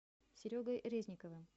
серегой резниковым